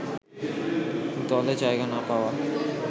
দলে জায়গা না পাওয়া